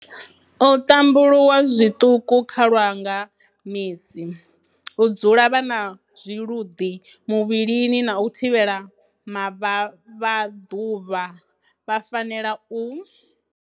U ṱambuluwa zwiṱuku kha lwa nga misi, U dzula vha na zwiluḓi muvhilini na u thivhela mavhavhaḓuvha vha fanela u.